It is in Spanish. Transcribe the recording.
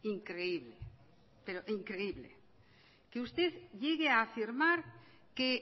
increíble pero increíble que usted llegue a afirmar que